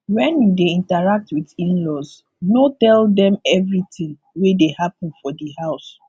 when you dey interact with inlaws no tell dem everything wey dey happen for di house